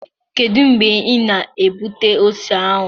Kedu mgbe ị na-egbute ose ahụ?